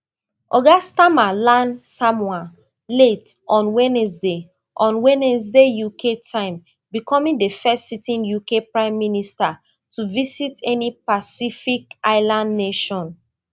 oga starmer land samoa late on wednesday on wednesday uk time becoming di first sitting uk prime minister to visit any pacific island nation